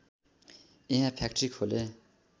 यहाँ फ्याक्ट्री खोले